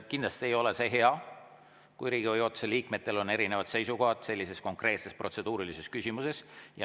Kindlasti ei ole see hea, kui Riigikogu juhatuse liikmetel on erinevad seisukohad sellises konkreetses protseduurilises küsimuses.